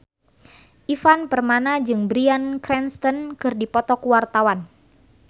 Ivan Permana jeung Bryan Cranston keur dipoto ku wartawan